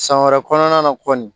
San wɛrɛ kɔnɔna na kɔni